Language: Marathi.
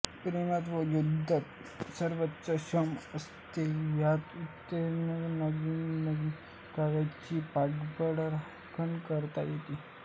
प्रेमात व युद्धात सर्वच क्षम्य असते या उक्तीने गनिमी काव्याची पाठराखण करता येते